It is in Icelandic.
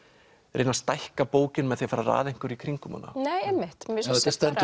reyna að stækka bókina með því að raða einhverju í kringum hana þetta stendur